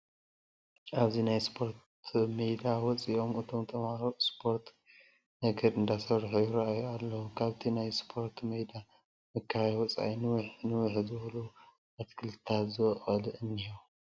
ኣብዚ ናይ ስፖርት መይዳ ወፂኦም እቶም ተመሃሮ እስፖርት ነገር እንዳሰርሑ ይረኣዩ ኣለዉ፡ ካብቲ ናይ ስፖረት መይዳ መካበቢያ ወፃእ ንውሕ ንውሕ ዝበሉ ኣትክልትታት ዝቦቖሉ እንሄዉ ።